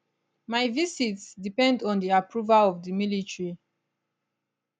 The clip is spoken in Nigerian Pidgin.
my visits depend on di approval of di military